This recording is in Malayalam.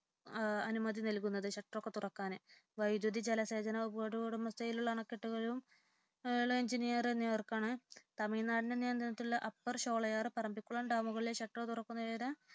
അനുമതി നൽകുന്നത് ഷട്ടറുകളൊക്കെ തുറക്കാന് വൈദ്യുത ജലസേചന വകുപ്പുകളുടെ ഉടമസ്ഥതയിലുള്ള അണക്കെട്ടുകൾ എഞ്ചിനീർക്കാണ് തമിഴ്നാട് നിയന്ത്രണത്തിലുള്ള അപ്പർ ഷോളയാർ പറമ്പിക്കുളം ഡാമുകളുടെ ഷട്ടർ തുറക്കുന്നേരം